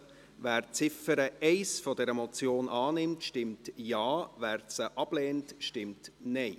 Wer die Ziffer 1 dieser Motion annimmt, stimmt Ja, wer diese ablehnt, stimmt Nein.